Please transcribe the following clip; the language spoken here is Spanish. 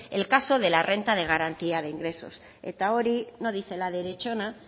el caso de la renta de garantía de ingresos eta hori no dice la derechona